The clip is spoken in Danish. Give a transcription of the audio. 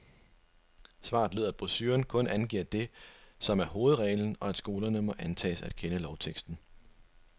Svaret lød, at brochuren kun angiver det, som er hovedreglen, og at skolerne må antages at kende lovteksten.